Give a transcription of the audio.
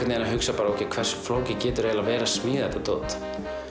hugsaði ókei hversu flókið getur það eiginlega verið að smíða þetta dót